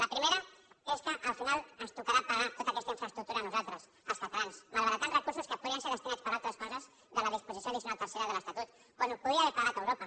la primera és que al final ens tocarà tota aquesta infraestructura a nosaltres als catalans malbaratant recursos que podien ser destinats a altres coses de la disposició addicional tercera de l’estatut quan ho podria haver pagat europa